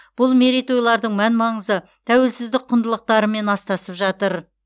бұл мерейтойлардың мән маңызы тәуелсіздік құндылықтарымен астасып жатыр